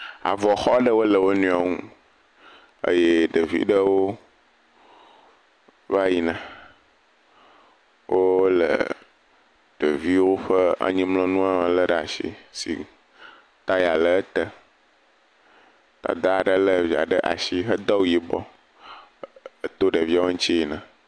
Avɔxɔ aɖe le wonuiwo ŋu eye ɖevi ɖewo va yina wole ɖeviwo ƒe anyimlɔnua le ɖe asi taya le ete. Dada aɖe lé via ɖe asi hedo awu yibɔ eer to ɖeviawo ŋuti yina.